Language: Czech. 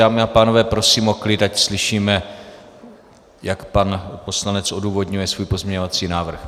Dámy a pánové, prosím o klid, ať slyšíme, jak pan poslanec odůvodňuje svůj pozměňovací návrh.